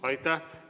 Aitäh!